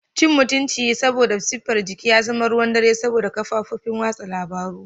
Cin mutunci saboda siffar jiki ya zama ruwan dare saboda kafofin watsa labaru.